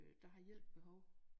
Øh der har hjælp behov